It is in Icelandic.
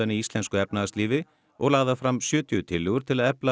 í íslensku efnahagslífi og lagðar fram sjötíu tillögur til að efla